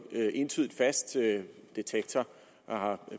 entydigt fast detektor har